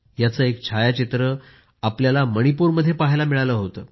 याचे एक छायाचित्र आपण मणिपूरमध्ये पहायला मिळाले होते